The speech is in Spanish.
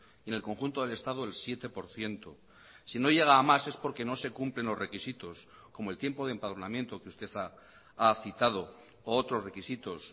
y en el conjunto del estado el siete por ciento si no llega a más es porque no se cumplen los requisitos como el tiempo de empadronamiento que usted ha citado o otros requisitos